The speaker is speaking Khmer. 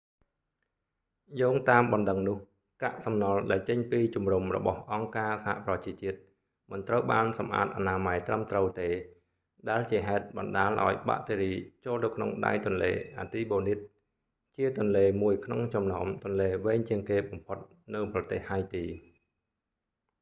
យោងតាមបណ្តឹងនោះ កាក់សំណល់ដែលចេញពីជំរំរបស់អង្គការសហប្រជាជាតិមិនត្រូវបានសម្អាតអនាម័យត្រឹមត្រូវទេ ដែលជាហេតុបណ្តាលឱ្យបាក់តេរីចូលទៅក្នុងដៃទន្លេអាទីបូនីត artibonite ជាទន្លេមួយក្នុងចំណោមទន្លេវែងជាងគេបំផុតនៅប្រទេសហៃទី